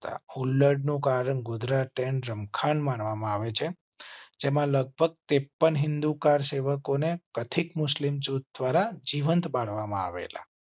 નું કારણ ગોધરા ટ્રેન રમખાણ માનવા માં આવે છે. ત્રેપન હિંદુ કાર સેવકો ને કથિત મુસ્લિમ જૂથ દ્વારા જીવંત બાળવામાં આવેલા